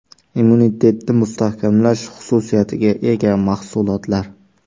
Immunitetni mustahkamlash xususiyatiga ega mahsulotlar.